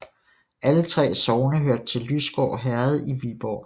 Alle 3 sogne hørte til Lysgård Herred i Viborg Amt